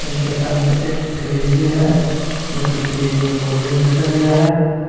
जिनके सामने एक फ्रिज भी है जोकि फ्रिज में कोल्ड ड्रिंक रखा गया है।